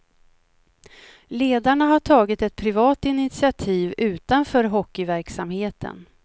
Ledarna har tagit ett privat initiativ utanför hockeyverksamheten.